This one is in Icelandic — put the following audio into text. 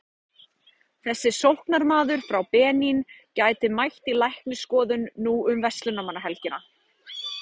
Þessi sóknarmaður frá Benín gæti mætt í læknisskoðun nú um verslunarmannahelgina.